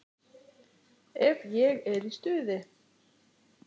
Ef ég er í stuði.